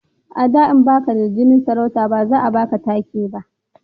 a da in baka da jinin sarauta ba za a baka take ba